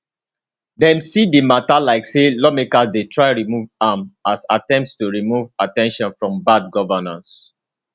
dem see di mata like say lawmakers dey try remove am as attempt to remove at ten tion from bad governance